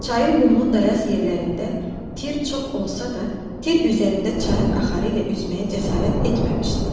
Çayın qumlu dayaz yerlərində tir çox olsa da, tir üzərində çayın axarı ilə üzməyə cəsarət etməmişdi.